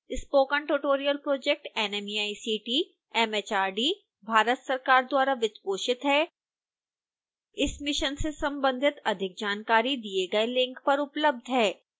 spoken tutorial project nmeict mhrd Bharat सरकार द्वारा वित्तपोषित है इस मिशन से संबंधित अधिक जानकारी दिए गए लिंक पर उपलब्ध है